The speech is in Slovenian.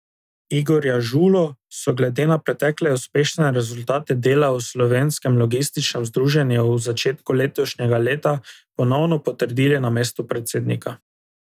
Igorja Žulo so glede na pretekle uspešne rezultate dela v Slovenskem logističnem združenju v začetku letošnjega leta ponovno potrdili na mestu predsednika.